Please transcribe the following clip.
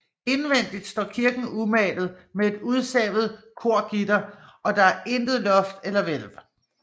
Indvendigt står kirken umalet med et udsavet korgitter og der er intet loft eller hvælv